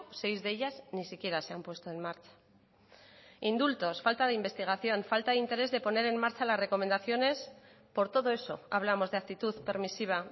seis de ellas ni siquiera se han puesto en marcha indultos falta de investigación falta de interés de poner en marcha las recomendaciones por todo eso hablamos de actitud permisiva